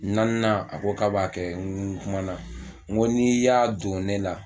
Naaninan a ko k'a b'a kɛ n kumana n ko n'i y'a don ne la